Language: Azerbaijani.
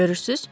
Görürsüz?